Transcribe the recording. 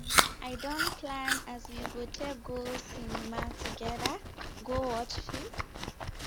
i don plan as we go take go cinema togeda go watch film